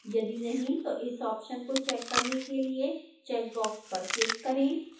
यदि नहीं तो इस ऑप्शन को चेक करने के लिए चेक बॉक्स पर क्लिक करें